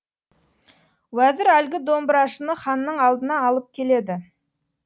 уәзір әлгі домбырашыны ханның алдына алып келеді